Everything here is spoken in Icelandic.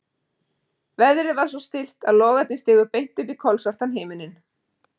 Veðrið var svo stillt að logarnir stigu beint upp í kolsvartan himininn.